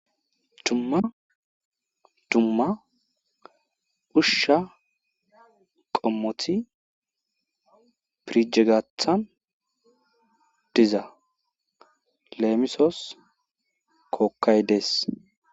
Dumma dumma usha qommoti firije gaatan diza leemisos;-kookay dees.